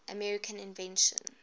american inventions